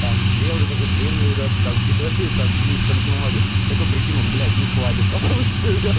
там белые какие то длинные верёвки там это вообще чуть ли не из туалетной бумаги такой прикинул блять не хватит пошёл ещё вяз